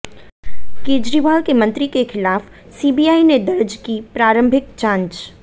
केजरीवाल के मंत्री के खिलाफ सीबीआई ने दर्ज की प्रारंभिक जांच